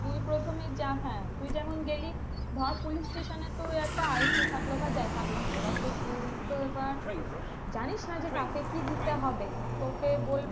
তুই প্রথমে যা হ্যাঁ তুই যেমন গেলি ধর police station এ একটা আইসি থাকলেও বা যাই থাকলো এবার তো তুই তো এবার জানিস না যে কাকে কি দিতে হবে তোকে বলবে।